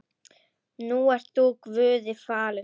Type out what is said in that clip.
Nú ert þú Guði falinn.